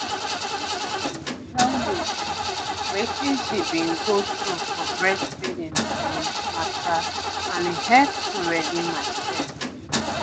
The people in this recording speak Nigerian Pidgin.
my neighbour bin tell me um wetin she bin go through for breastfeeding um mata and e hep to ready myself.